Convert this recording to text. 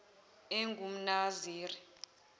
engumnaziri